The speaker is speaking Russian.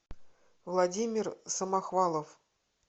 владимир самохвалов